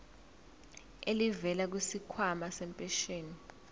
elivela kwisikhwama sempesheni